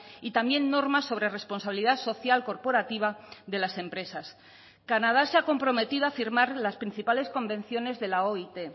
y también normas sobre responsabilidad social corporativa de las empresas canadá se ha comprometido a firmar las principales convenciones de la oit